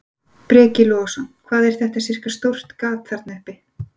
Breki Logason: Hvað er þetta sirka stórt gat þarna uppi?